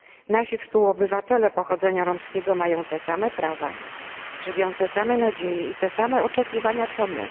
Nasi współobywatele pochodzenia romskiego mają te same prawa, żywią te same nadzieje i te same oczekiwania, co my.